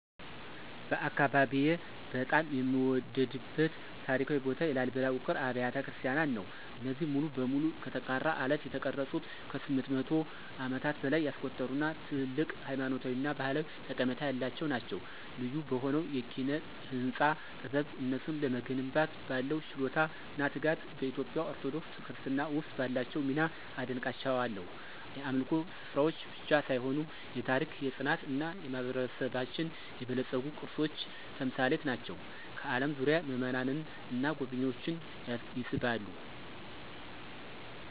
በአካባቢዬ በጣም የምወደድበት ታሪካዊ ቦታ የላሊበላ ውቅር አብያተ ክርስቲያናት ነው። እነዚህ ሙሉ በሙሉ ከጠንካራ አለት የተቀረጹት ከ800 ዓመታት በላይ ያስቆጠሩ እና ትልቅ ሃይማኖታዊ እና ባህላዊ ጠቀሜታ ያላቸው ናቸው። ልዩ በሆነው የኪነ-ህንፃ ጥበብ፣ እነሱን ለመገንባት ባለው ችሎታ እና ትጋት፣ በኢትዮጵያ ኦርቶዶክስ ክርስትና ውስጥ ባላቸው ሚና አደንቃቸዋለሁ። የአምልኮ ስፍራዎች ብቻ ሳይሆኑ የታሪክ፣ የፅናት እና የማህበረሰባችን የበለፀጉ ቅርሶች ተምሳሌት ናቸው፣ ከአለም ዙሪያ ምእመናንን እና ጎብኝዎችን ይስባሉ።